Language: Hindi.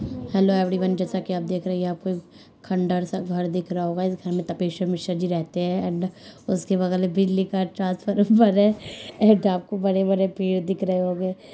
हेलो एवरीवन जैसा की आप देख रहे है यह पे खंडर सा घर दिख रहा होगा इस घर में मिश्रा जी रहते हैं एंड उसके बगल में बिजली का ट्रांसफॉर्म है एंड आपको बड़े बड़े पेड़ दिख रहें होंगे।